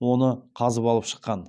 оны қазып алып шыққан